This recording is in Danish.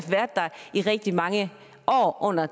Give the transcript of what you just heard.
i rigtig mange år under